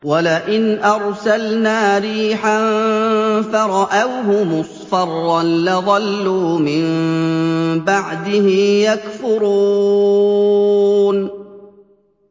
وَلَئِنْ أَرْسَلْنَا رِيحًا فَرَأَوْهُ مُصْفَرًّا لَّظَلُّوا مِن بَعْدِهِ يَكْفُرُونَ